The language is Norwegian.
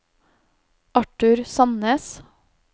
Arthur Sandnes